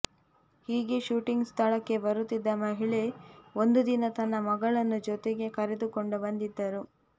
ಹೀಗೆ ಶೂಟಿಂಗ್ ಸ್ಥಳಕ್ಕೆ ಬರುತ್ತಿದ್ದ ಮಹಿಳೆ ಒಂದು ದಿನ ತನ್ನ ಮಗಳನ್ನೂ ಜೊತೆಗೆ ಕರೆದುಕೊಂಡು ಬಂದಿದ್ದರು